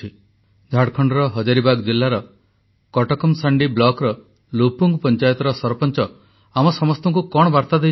ଶୁଣନ୍ତୁ ଝାଡ଼ଖଣ୍ଡର ହଜାରିବାଗ୍ ଜିଲ୍ଲାର କଟକ ମସାଣ୍ଡି ବ୍ଲକ୍ର ଲୁପୁଙ୍ଗ ପଂଚାୟତର ସରପଞ୍ଚ ଆମ ସମସ୍ତଙ୍କୁ କଣ ବାର୍ତା ଦେଇଛନ୍ତି